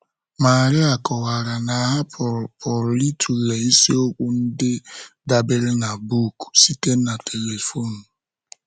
Maria kọwara na ha pụrụ pụrụ ịtụle isiokwu ndị dabeere na book site na telifon.